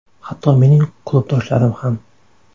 Hatto mening klubdoshlarim ham.